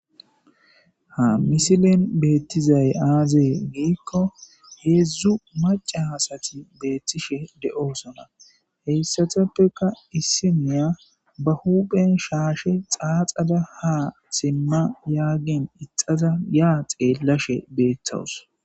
ha misilen beettizay aazee giikko heedzdzu maca asati beettishe de'osona heyssateppeka issiniya ba huupen shaashe xaaxada ha simma yaagin ixaza yaa xeellashe beetawus